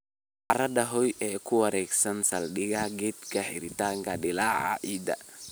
""" Carrada Hoe-up ee ku wareegsan saldhigga geedka, xiritaanka dildilaaca ciidda."